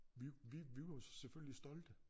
Vi vi vi var jo selvfølgelig stolte